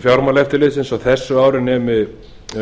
fjármálaeftirlitsins á þessu ári nemi